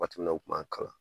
Waatiw mi na u tun b'an kalan